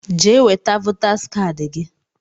Jee weta votaas kaadị gị!